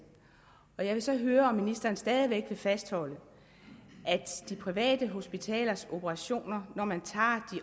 jeg vil så høre om ministeren stadig væk vil fastholde at de private hospitalers operationer når man tager